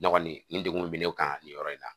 Ne kɔni ni degun be ne kan nin yɔrɔ in na